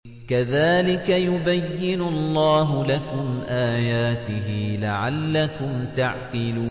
كَذَٰلِكَ يُبَيِّنُ اللَّهُ لَكُمْ آيَاتِهِ لَعَلَّكُمْ تَعْقِلُونَ